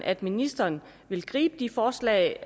at ministeren vil gribe de forslag